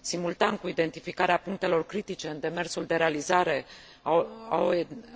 Simultan cu identificarea punctelor critice în demersul de realizare a